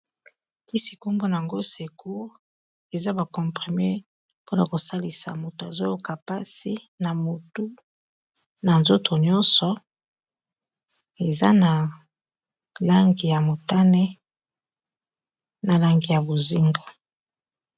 Kisi kombo na yango Secour eza ba comprimer mpona kosalisa moto azoyoka mpasi na motu na nzoto nyonso eza na langi ya motane na langi ya bozinga.